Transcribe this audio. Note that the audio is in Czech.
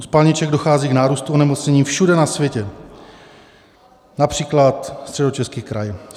U spalniček dochází k nárůstu onemocnění všude na světě, například Středočeský kraj.